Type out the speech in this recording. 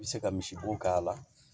I bɛ se ka misibo k'a la